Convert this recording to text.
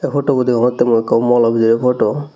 ey potobo deyongotte mui ikko molo bidirey poto